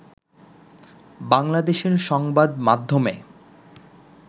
বাংলাদেশের সংবাদ মাধ্যমে